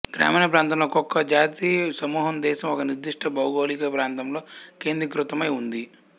గ్రామీణప్రాంతంలో ఒక్కొక జాతి సమూహం దేశం ఒక నిర్దిష్ట భౌగోళిక ప్రాంతంలో కేంద్రీకృతమై ఉంది